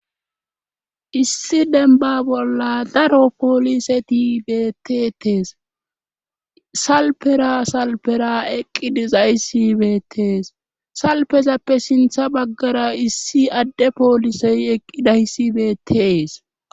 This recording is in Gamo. Issi denba bolla daro poolise tibetetees salpera salpera eqqi dizaysibetees salpezappe sintha baggara issi adde poolisey eqqidayssibetees.